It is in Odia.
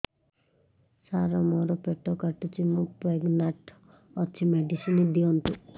ସାର ମୋର ପେଟ କାଟୁଚି ମୁ ପ୍ରେଗନାଂଟ ଅଛି ମେଡିସିନ ଦିଅନ୍ତୁ